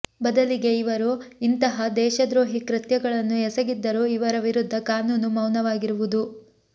ಬದಲಿಗೆ ಇವರು ಇಂತಹ ದೇಶದ್ರೋಹಿ ಕೃತ್ಯಗಳನ್ನು ಎಸಗಿದ್ದರೂ ಇವರ ವಿರುದ್ಧ ಕಾನೂನು ವೌನವಾಗಿರುವುದು